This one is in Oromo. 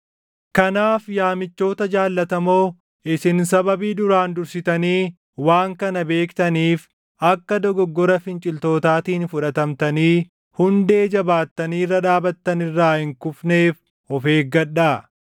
Kanaaf yaa michoota jaallatamoo, isin sababii duraan dursitanii waan kana beektaniif akka dogoggora finciltootaatiin fudhatamnii hundee jabaattanii irra dhaabattan irraa hin kufneef of eeggadhaa.